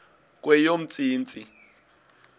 kweyomntsintsi